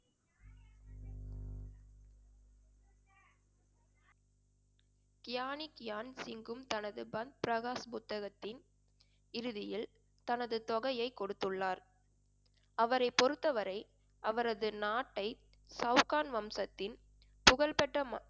கியானிக்கியான்சிங்கும் தனது பன் பிரகாஷ் புத்தகத்தின் இறுதியில் தனது தொகையை கொடுத்துள்ளார் அவரைப் பொறுத்தவரை அவரது நாட்டை சவுகான் வம்சத்தின் புகழ்பெற்ற